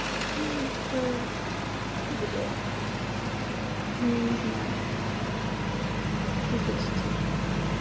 ээ блять я не знаю кто есть